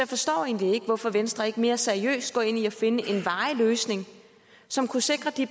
forstår egentlig ikke hvorfor venstre ikke mere seriøst går ind i at finde en varig løsning som kunne sikre de